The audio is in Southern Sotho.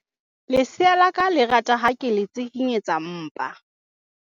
lesea la ka le rata ha ke le tsikinyetsa mpa